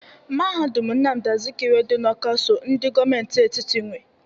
Mahadum Nnamdị Azikiwe dị n'Ọka so ndị gọọmentị etiti nwe.